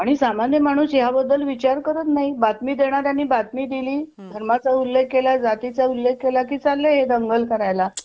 आणि सामान्य माणूस याबद्दल विचार करत नाही बातमी देणाऱ्याने बातमी दिली धर्माचा उल्लेख केला जातीचा उल्लेख केला की चालले हे दंगल करायला.